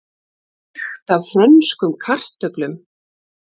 Lykt af frönskum kartöflum